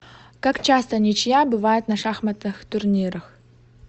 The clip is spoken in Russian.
как часто ничья бывает на шахматных турнирах